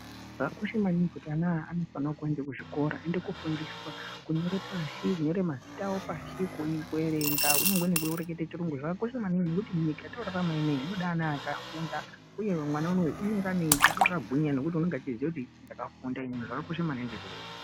Zvakakosha maningi kuti ana aya akuenda kuzvikora aende kofundiswa kunyora pashi kunyora mazina awo pashi kuerenga Kunyangwe nekunyora chirungu zvakakosha maningi nekuti munyika yatorarama ineyi inoda antu akafunda uye mwana unowu unenge akagwinya nekuti anenge achiziva kuti ndakafunda inini zvakakosha maningi izvozvo.